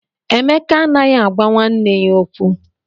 Emeka anaghị agwa nwanne ya okwu.